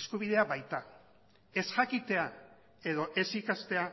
eskubidea baita ez jakitea edo ez ikastea